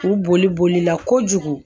U boli bolila kojugu